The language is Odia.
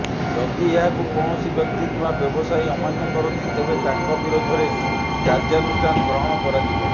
ଯଦି ଏହାକୁ କୌଣସି ବ୍ୟକ୍ତି କିମ୍ବା ବ୍ୟବସାୟୀ ଅମାନ୍ୟ କରନ୍ତି ତେବେ ତାଙ୍କ ବିରୋଧରେ କାର୍ଯ୍ୟାନୁଷ୍ଠାନ ଗ୍ରହଣ କରାଯିବ